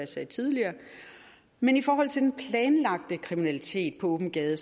sagde tidligere men i forhold til den planlagte kriminalitet på åben gade